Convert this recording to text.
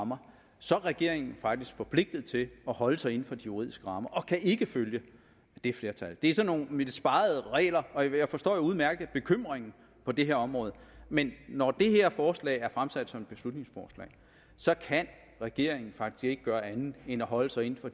rammer så er regeringen faktisk forpligtet til at holde sig inden for de juridiske rammer og kan ikke følge det flertal det er sådan nogle lidt spegede regler og jeg forstår jo udmærket bekymringen på det her område men når det her forslag er fremsat som et beslutningsforslag så kan regeringen faktisk ikke gøre andet end at holde sig inden for